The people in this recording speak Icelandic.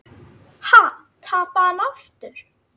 Ha, tapaði hann aftur?